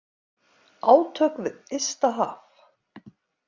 Átök við ysta haf.